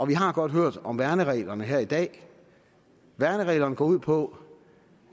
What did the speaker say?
vi har godt hørt om værnsreglerne her i dag værnsreglerne går ud på